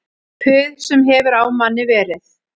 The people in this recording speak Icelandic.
Puð sem hefur á manni verið